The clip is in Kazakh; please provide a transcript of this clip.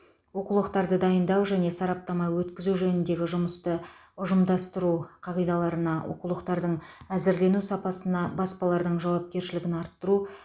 оқулықтарды дайындау және сараптама өткізу жөніндегі жұмысты ұжымдастыру қағидаларына оқулықтардың әзірлену сапасына баспалардың жауапкершілігін арттыру